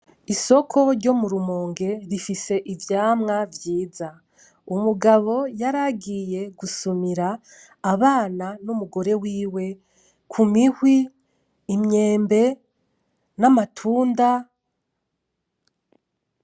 Isoko ryo mu rumonge rifise ivyamwa vyiza, umugabo yaragiye gusumira abana n'umugore wiwe ku mihwi, imyembe, n'amatunda.